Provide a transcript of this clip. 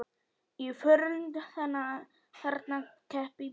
Í fornöld þarna kappi bjó.